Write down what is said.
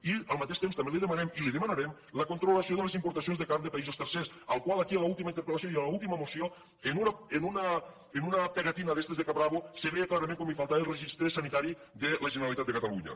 i al mateix temps també li demanem i li demanarem el control de les importacions de carn de països tercers el qual aquí en l’última interpel·lació i en l’última moció en un adhesiu d’aquests de caprabo se veia clarament com li faltava el registre sanitari de la generalitat de catalunya